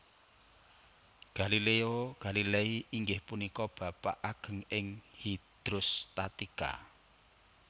Galileo Galilei inggih punika bapak ageng ing hidrostatika